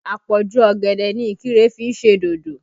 Àpọ̀jù ọ̀gẹ̀dẹ̀ ni Ikire fi ń ṣe dodo